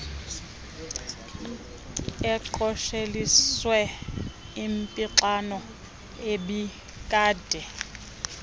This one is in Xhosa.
aqosheliswe impixano ebikade